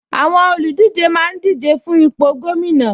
Àwọn olùdíje máa ń díje fún ipò gómìnà